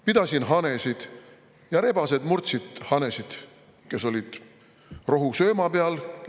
Pidasin hanesid ja rebased murdsid hanesid, kes olid rohusööma peal.